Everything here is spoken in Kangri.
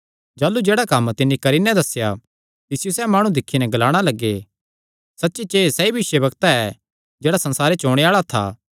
जाह़लू जेह्ड़ा कम्म तिन्नी करी नैं दस्सेया तिसियो सैह़ माणु दिक्खी नैं ग्लाणा लग्गे सच्ची च एह़ सैई भविष्यवक्ता ऐ जेह्ड़ा संसारे च ओणे आल़ा था